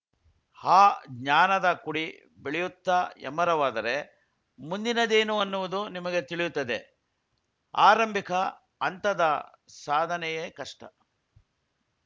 ಆ ಜ್ಞಾನದ ಕುಡಿ ಬೆಳೆಯುತ್ತ ಹೆಮ್ಮರವಾದರೆ ಮುಂದಿನದೇನು ಅನ್ನುವುದು ನಿಮಗೇ ತಿಳಿಯುತ್ತದೆ ಆರಂಭಿಕ ಹಂತದ ಸಾಧನೆಯೇ ಕಷ್ಟ